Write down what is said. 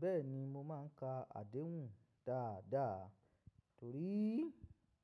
Bẹ́ẹ̀ni mo máa ń ka àdéhùn dáadáa torí